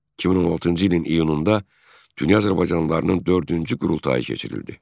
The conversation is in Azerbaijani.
2016-cı ilin iyununda Dünya Azərbaycanlılarının dördüncü qurultayı keçirildi.